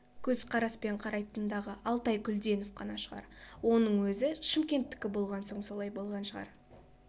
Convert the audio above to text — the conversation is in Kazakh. көзқараспен қарайтын дағы алтай күлденов қана шығар оның өзі шымкентікі болған соң солай болған шығар